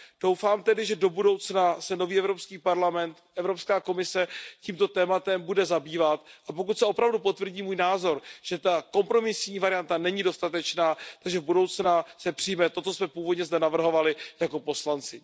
Doufám tedy, že do budoucna se nový Evropský parlament, Evropská komise tímto tématem bude zabývat a pokud se opravdu potvrdí můj názor, že ta kompromisní varianta není dostatečná, se do budoucna přijme to, co jsme původně zde navrhovali jako poslanci.